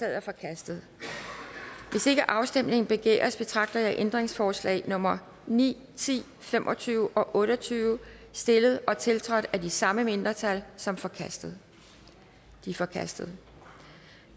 er forkastet hvis ikke afstemning begæres betragter jeg ændringsforslag nummer ni ti fem og tyve og otte og tyve stillet og tiltrådt af de samme mindretal som forkastet de er forkastet